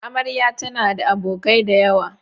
Amarya tana da abokai da yawa.